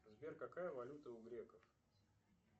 сбер какая валюта у греков